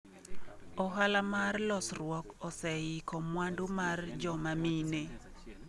Ohala ma losruok oseiko mwandu mar joma mine